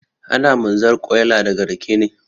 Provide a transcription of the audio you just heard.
Ana mazarƙwaila daga rake ne